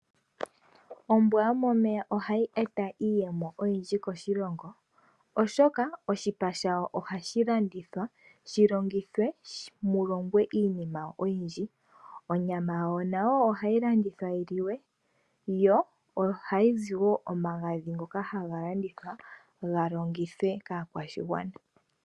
Ombwa yomomeya ohayi e ta iiyemo oyindji koshilongo oshoka oshipa shawo ohashi landithwa shi longithwe mu longwe iinima oyindji. Onyama yawo nawo ohayi landithwa yi liwe, yo ohayi zi wo omagadhi ngoka haga landithwa ga longithwe kaakwashigwana.